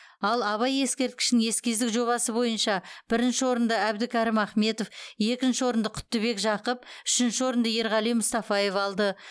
ал абай ескерткішінің эскиздік жобасы бойынша бірінші орынды әбдікәрім ахметов екінші орынды құттыбек жақып үшінші орынды ерғали мұстафаев алды